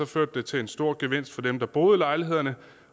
førte det til en stor gevinst for dem der boede i lejlighederne